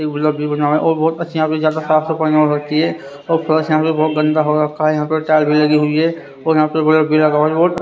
और बहुत अच्छा ज्यादा सात होकी है और यहां पे बहुत गंदा हो रखा है यहां पे टायर भी लगी हुई है और यहां पे बल--